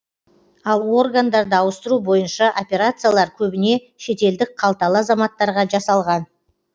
ал органдарды ауыстыру бойынша операциялар көбіне шетелдік қалталы азаматтарға жасалған